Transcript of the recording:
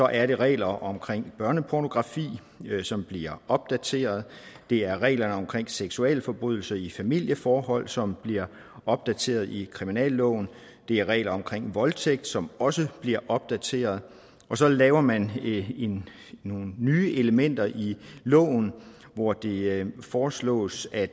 er regler omkring børnepornografi som bliver opdateret det er reglerne omkring seksualforbrydelser i familieforhold som bliver opdateret i kriminalloven det er regler omkring voldtægt som også bliver opdateret og så laver man nogle nye elementer i loven hvor det foreslås at